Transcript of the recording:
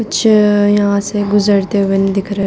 कुछ यहाँ से गुजरते हुए नहीं दिख रहे --